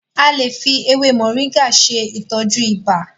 A lè fi ewé Moringa ṣe ìtọ́jú ibà.